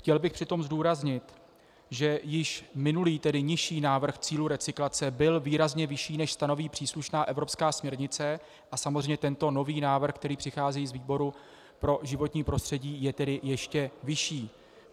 Chtěl bych přitom zdůraznit, že již minulý, tedy nižší návrh cílů recyklace byl výrazně vyšší, než stanoví příslušná evropská směrnice, a samozřejmě tento nový návrh, který přichází z výboru pro životní prostředí, je tedy ještě vyšší.